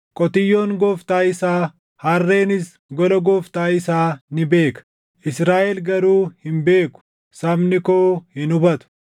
Qotiyyoon gooftaa isaa, harreenis gola gooftaa isaa ni beeka; Israaʼel garuu hin beeku; sabni koo hin hubatu.”